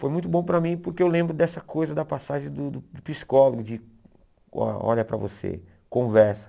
Foi muito bom para mim porque eu lembro dessa coisa da passagem do do psicólogo, de o olha para você, conversa.